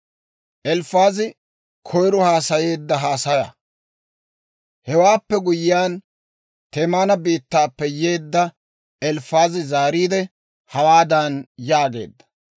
Hewaappe guyyiyaan, Teemaana biittaappe yeedda Elifaazi zaariide, hawaadan yaageedda;